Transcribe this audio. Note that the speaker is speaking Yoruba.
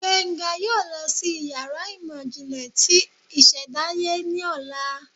Gbenga yóò lọ sí iyàrá ìmọ jinle tí ìsèdáye ní ọla